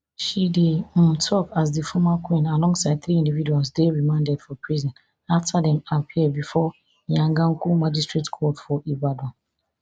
she dey um tok as di former queen alongside three individuals dey remanded for prison after dem appear bifor iyaganku magistrate court for ibadan